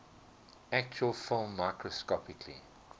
actual film microscopically